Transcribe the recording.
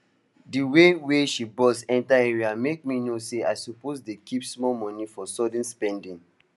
the way wey she bust enter area make me know say i suppose dey keep small money for sudden spending